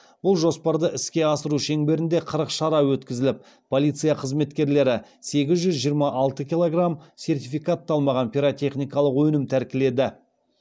бұл жоспарды іске асыру шеңберінде қырық шара өткізіліп полиция қызметкерлері сегіз жүз жиырма алты килограмм сертификатталмаған пиротехникалық өнім тәркіледі